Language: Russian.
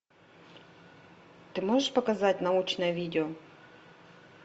ты можешь показать научное видео